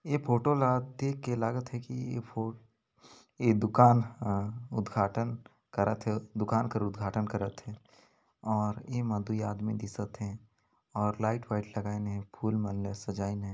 ए photo ला देख के लागत हे की ए फो ए दुकान ह उद्घाटन करत हे दुकान कर उद्धाटन करत हे और य मनतो ए आदमी दिसत हे और लाइट वाइट लगाईन हे फूल मन ल सजाइन हे।